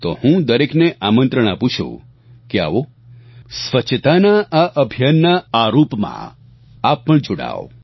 તો હું દરેકને આમંત્રણ આપું છું કે આવો સ્વચ્છતાના આ અભિયાનના આ રૂપમાં આપ પણ જોડાવ